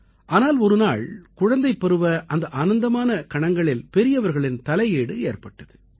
ஆனால் ஒரு நாள் குழந்தைப்பருவ அந்த ஆனந்தமான கணங்களில் பெரியவர்களின் தலையீடு ஏற்பட்டது